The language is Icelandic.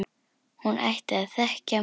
Hún ætti að þekkja mig!